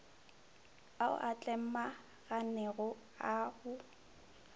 ao a tlemaganego a go